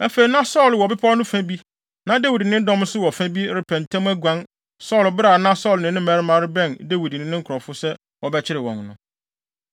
Afei na Saulo wɔ bepɔw no fa bi na Dawid ne ne dɔm nso wɔ ne fa bi, repɛ ntɛm aguan Saulo bere a na Saulo ne ne mmarima rebɛn Dawid ne ne nkurɔfo sɛ wɔbɛkyere wɔn no,